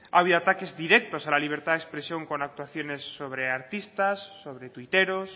ha habido ataques directos a la libertad de expresión con actuaciones sobre artistas sobre tuiteros